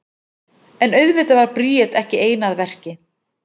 En auðvitað var Bríet ekki ein að verki.